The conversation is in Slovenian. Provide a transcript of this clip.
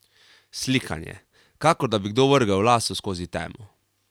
Sikanje, kakor da bi kdo vrgel laso skozi temo.